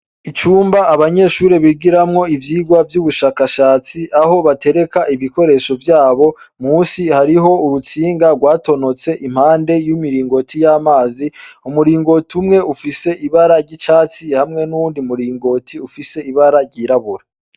Icumba abanyeshure bigiramwo ivyigwa vy'ubushakashatsi, aho batereka ibikoresho vyabo musi hariho urutsinga gwatonotse impande y'imiringoti yamazi. Umuringoti umwe ufise ibara ry'icatsi hamwe n'uyundi muringoti ufise ibara ryirabura